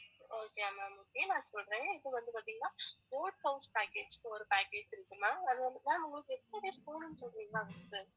okay யா ma'am okay நான் சொல்றேன் இப்ப வந்து பாத்தீங்கன்னா boat house package க்கு ஒரு package இருக்கு ma'am அது வந்து ma'am உங்களுக்கு